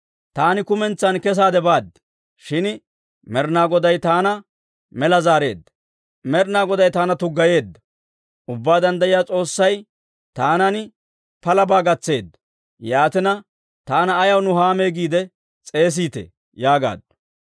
Taani kumentsan kesaade baad; shin Med'inaa Goday taana mela zaareedda. Med'inaa Goday taana tuggayiidde Ubbaa Danddayiyaa S'oossay taanan palabaa gatseedda. Yaatina, taana ayaw Nuhaame giide s'eesiitee?» yaagaaddu.